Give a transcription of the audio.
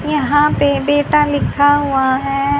यहां पे बेटा लिखा हुआ है।